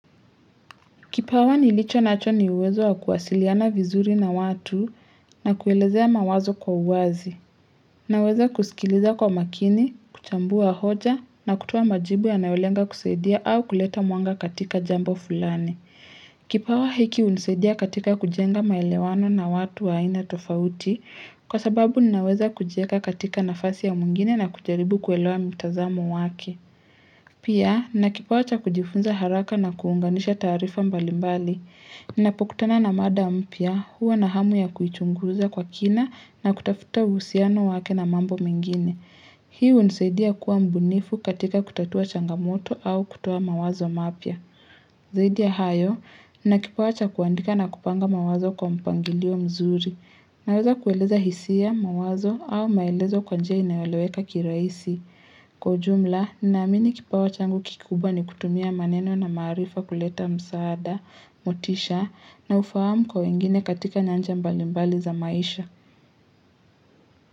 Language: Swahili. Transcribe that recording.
Kipawa nilicho nacho ni uwezo wa kuwasiliana vizuri na watu na kuelezea mawazo kwa uwazi. Naweza kusikiliza kwa makini, kuchambua hoja na kutoa majibu yanaolenga kusaidia au kuleta mwanga katika jambo fulani. Kipawa hiki hunisaidia katika kujenga maelewano na watu wa aina tofauti kwa sababu ninaweza kujieka katika nafasi ya mwingine na kujaribu kuelewa mtazamo wake. Pia, nina kipawa cha kujifunza haraka na kuunganisha taarifa mbalimbali. Napokutana na mada mpya huwa na hamu ya kuichunguza kwa kina na kutafuta uhusiano wake na mambo mengine. Hiu hunisaidia kuwa mbunifu katika kutatua changamoto au kutoa mawazo mapya. Zaidi ya hayo, nina kipawa cha kuandika na kupanga mawazo kwa mpangilio mzuri. Naweza kueleza hisia, mawazo au maelezo kwa njia inayoeleweka kirahisi. Kwa ujumla, ninaamini kipawa changu kikubwa ni kutumia maneno na maarifa kuleta msaada, motisha na ufahamu kwa wengine katika nyanja mbali mbali za maisha.